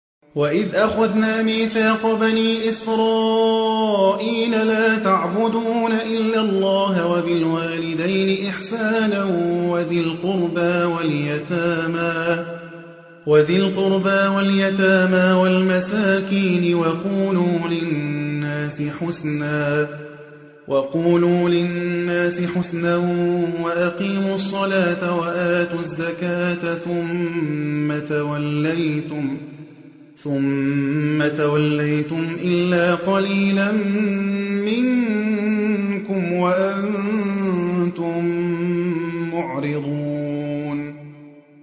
وَإِذْ أَخَذْنَا مِيثَاقَ بَنِي إِسْرَائِيلَ لَا تَعْبُدُونَ إِلَّا اللَّهَ وَبِالْوَالِدَيْنِ إِحْسَانًا وَذِي الْقُرْبَىٰ وَالْيَتَامَىٰ وَالْمَسَاكِينِ وَقُولُوا لِلنَّاسِ حُسْنًا وَأَقِيمُوا الصَّلَاةَ وَآتُوا الزَّكَاةَ ثُمَّ تَوَلَّيْتُمْ إِلَّا قَلِيلًا مِّنكُمْ وَأَنتُم مُّعْرِضُونَ